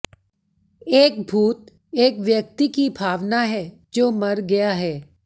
एक भूत एक व्यक्ति की भावना है जो मर गया है